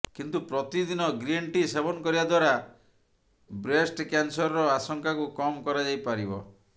କିନ୍ତୁ ପ୍ରତିଦିନ green tea ସେବନ କରିବା ଦ୍ବାରା ବ୍ରେଷ୍ଟ କ୍ୟାନସରର ଆଶଙ୍କାକୁ କମ୍ କରାଯାଇପାରିବ